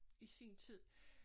I sin tid